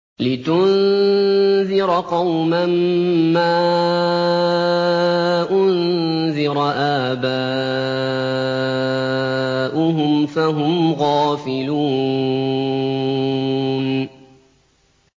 لِتُنذِرَ قَوْمًا مَّا أُنذِرَ آبَاؤُهُمْ فَهُمْ غَافِلُونَ